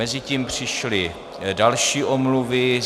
Mezitím přišly další omluvy.